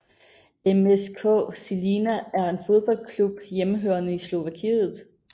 MŠK Žilina er en fodboldklub hjemmehørende i Slovakiet